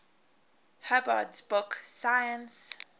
hubbard's book 'science